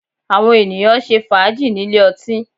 Àwọn ènìyàn ń ṣe fàájì nílé ọtí